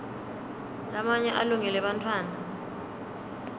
lamanye alungele bantfwana